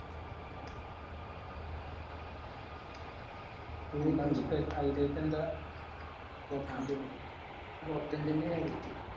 highlight എന്താ എന്നെ കാര്യായിട്ട്